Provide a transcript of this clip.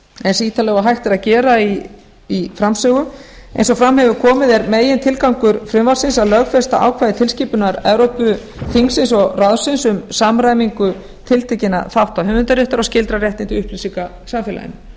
eins ítarlega og hægt er að gera í framsögu eins og fram hefur komið er megintilgangur frumvarpsins að lögfesta ákvæði tilskipunar evrópuþingsins og ráðsins um samræmingu tiltekinna þátta höfundaréttar og skyldra réttinda í upplýsingasamfélaginu með